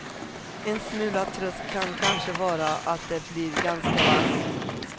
En smula tröst kan kanske vara att det blir ganska varmt.